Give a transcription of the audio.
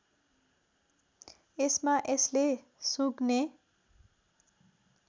यसमा यसले सुँघ्ने